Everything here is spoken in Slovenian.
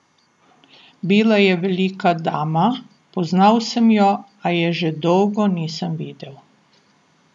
Bila je velika dama, poznal sem jo, a je že dolgo nisem videl.